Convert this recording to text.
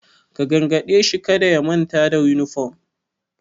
Ka gargade shi kada ya manta da yunifom!